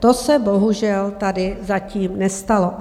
To se bohužel tady zatím nestalo.